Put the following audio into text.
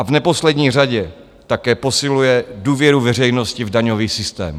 A v neposlední řadě také posiluje důvěru veřejnosti v daňový systém.